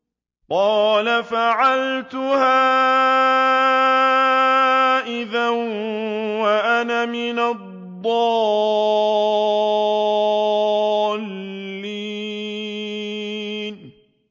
قَالَ فَعَلْتُهَا إِذًا وَأَنَا مِنَ الضَّالِّينَ